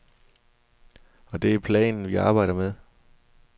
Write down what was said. Og det er planen, vi arbejder med.